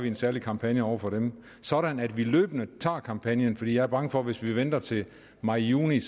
en særlig kampagne over for dem sådan at vi løbende tager kampagnen for jeg er bange for at hvis vi venter til maj juni